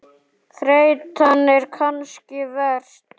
Þreytan er kannski verst.